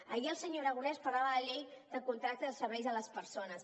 ahir el senyor aragonès parlava de la llei de contractes de serveis a les persones